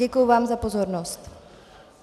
Děkuji vám za pozornost.